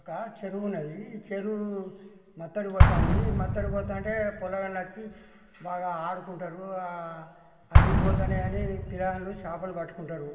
ఒక చెరువు ఉన్నది ఈ చెరువు మట్టి అడుగు పోతాంది మట్టి అడుగుపోతాంటె పోలగాండ్లు వచ్చి బాగా అడుకుంటారు ఆ నీలు పోతానే గాని పిల్ల గాళ్ళు చేపలు పట్టుకుంటారు